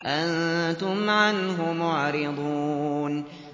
أَنتُمْ عَنْهُ مُعْرِضُونَ